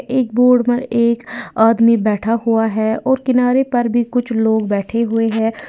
एक बोट में एक आदमी बैठा हुआ है और किनारे पर भी कुछ लोग बैठे हुए हैं।